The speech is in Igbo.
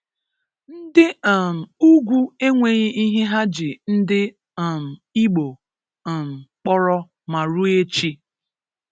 Ndi um ugwu enweghi ihe ha ji ndi um Igbo um kpọrọ ma rue echi!